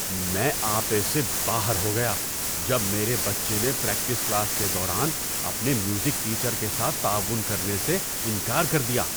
میں آپے سے باہر ہو گیا جب میرے بچے نے پریکٹس کلاس کے دوران اپنے میوزک ٹیچر کے ساتھ تعاون کرنے سے انکار کر دیا۔